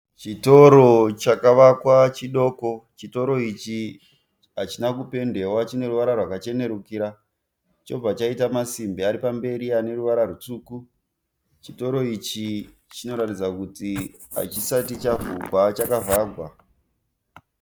Chitoro chakvakwa chidoko, chitoro ichi hachina kupendewa chine ruvara rwakachenerukira chobva chaita masimbi ari pamberi aneruvara rutsvuku, chitoro ichi chinoratidza kuti hachisati chavhurwa chakavharwa.